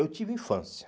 Eu tive infância.